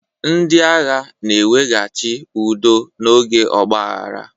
Ndị agha na-eweghachi udo n'oge ọgbaaghara.